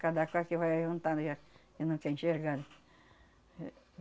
Cada qual que vai ajuntando já, e não quer enxergar. Eh, eh